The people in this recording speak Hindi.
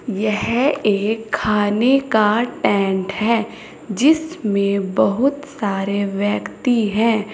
यह एक खाने का टेंट है जिसमें बहुत सारे व्यक्ति हैं।